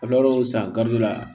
San gariza la